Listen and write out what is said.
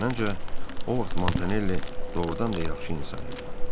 Məncə, o vaxt Montanelli doğrudan da yaxşı insan idi.